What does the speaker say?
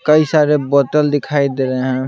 कई सारे बोतल दिखाई दे रहे हैं।